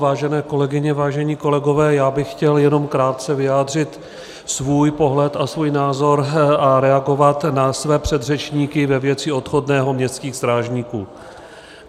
Vážené kolegyně, vážení kolegové, já bych chtěl jenom krátce vyjádřit svůj pohled a svůj názor a reagovat na své předřečníky ve věci odchodného městských strážníků.